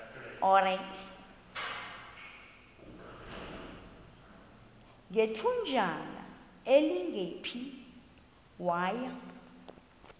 ngethutyana elingephi waya